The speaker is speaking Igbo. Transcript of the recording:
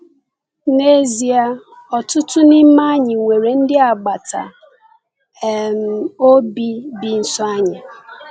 N’ezie, ọtụtụ n’ime anyị nwere ndị agbata um obi bi nso anyị.